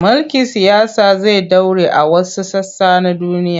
Mulkin siyasa zai ɗore a wasu sassa na duniya.